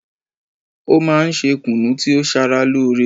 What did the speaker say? Ó máa n se kùnú tí ó sara lóore